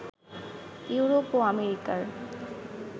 Europe ও আমেরিকার